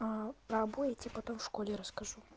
про обои я тебе потом в школе расскажу